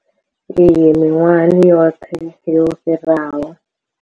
Iyi miṅwahani yoṱhe yo fhiraho.